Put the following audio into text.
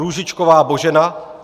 Růžičková Božena